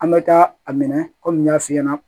An bɛ taa a minɛ kɔmi n y'a f'i ɲɛna